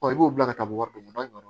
i b'o bila ka taa wari d'u ma